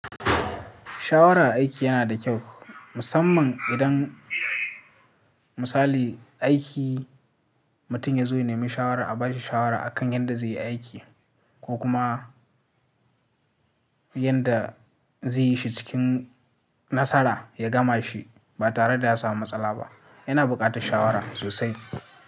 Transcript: Shawara a aiki yana da kyau, musamman idan misali aiki mutum ya zo ya nemi shawara, a ba shi shawara akan yadda zai yi aiki ko kuma yadda zai yi shi cikin nasara ya gama shi ba tare da ya samu matsala ba. Yana buƙatar shawara sosai.